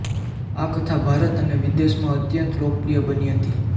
આ કથા ભારત અને વિદેશમાં અત્યંત લોકપ્રિય બની હતી